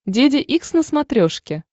деде икс на смотрешке